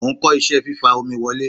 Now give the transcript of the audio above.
Mo ń kọ́ iṣẹ́ fífa omi wọlé.